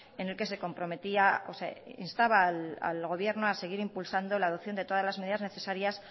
en el que se comprometía o se instaba al gobierno a seguir impulsando la adopción de todas las medidas necesarias